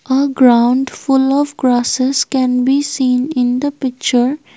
A ground full of grasses can be seen in the picture.